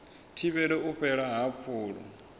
thivhele u fhela ha pfulo